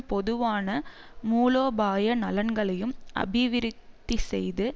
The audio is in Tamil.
பொதுவான மூலோபாய நலன்களையும் அபிவிருத்திசெய்து